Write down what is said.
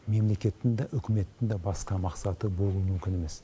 мемлекеттің де үкіметтің де басқа мақсаты болуы мүмкін емес